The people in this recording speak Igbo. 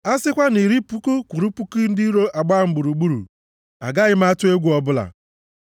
A sịkwa na iri puku kwụrụ puku ndị iro agbaa m gburugburu, agaghị m atụ egwu ọbụla.